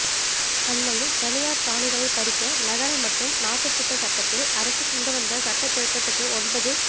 அண்மையில் தனியார் காணிகளைப் பறிக்க நகர மற்றும் நாட்டுத் திட்ட சட்டத்தில் அரச கொண்டு வந்த சட்ட திருத்தத்துக்கு ஒன்பது